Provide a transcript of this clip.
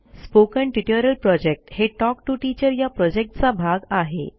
spoken tutorial project हे talk to teacher या प्रॉजेक्टचा भाग आहे